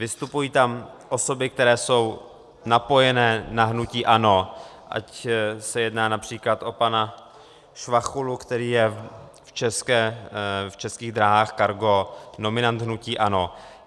Vystupují tam osoby, které jsou napojené na hnutí ANO, ať se jedná například o pana Švachulu, který je v Českých dráhách Cargo nominant hnutí ANO.